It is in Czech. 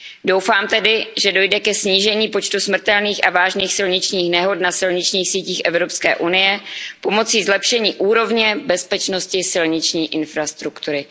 Doufám tedy, že dojde ke snížení počtu smrtelných a vážných silničních nehod na silničních sítích EU pomocí zlepšení úrovně bezpečnosti silniční infrastruktury.